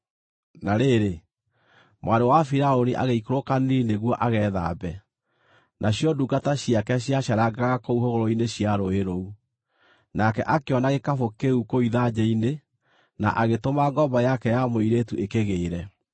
Na rĩrĩ, mwarĩ wa Firaũni agĩikũrũka Nili nĩguo agethambe, nacio ndungata ciake ciaceerangaga kũu hũgũrũrũ-inĩ cia rũũĩ rũu. Nake akĩona gĩkabũ kĩu kũu ithanjĩ-inĩ, na agĩtũma ngombo yake ya mũirĩtu ĩkĩgĩĩre.